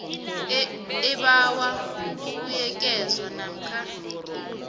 ebawa ukubuyekezwa namkha